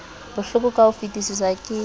bohloko ka ho fetisisa ke